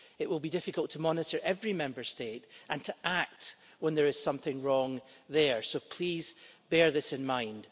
It will be difficult to monitor every Member State, and to act when there is something wrong there, so please, bear this in mind.